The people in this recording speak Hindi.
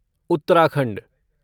उत्तराखंड